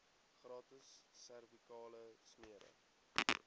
gratis servikale smere